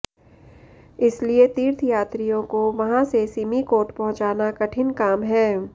इसलिए तीर्थयात्रियों को वहां से सिमिकोट पहुंचाना कठिन काम है